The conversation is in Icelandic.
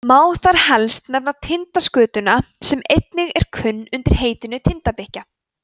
má þar helst nefna tindaskötuna sem einnig er kunn undir heitinu tindabikkja